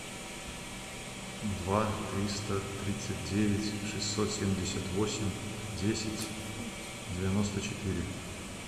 два триста тридцать девять шестьсот семьдесят восемь десять девяносто четыре